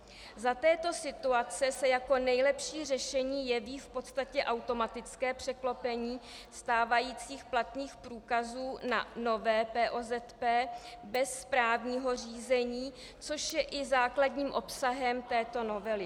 Za této situace se jako nejlepší řešení jeví v podstatě automatické překlopení stávajících platných průkazů na nové POZP bez správního řízení, což je i základním obsahem této novely.